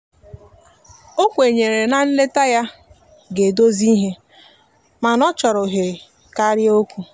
o kwenyere na nleta ya ga edozi ihe mana ọchọrọ ohere karịa okwụ